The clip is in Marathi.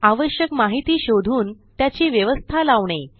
आवश्यक माहिती शोधून त्याची व्यवस्था लावणे